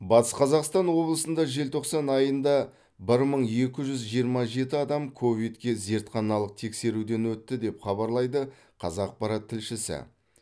батыс қазақстан облысында желтоқсан айында бір мың екі жүз жиырма жеті адам ковидке зертханалық тексеруден өтті деп хабарлайды қазақпарат тілшісі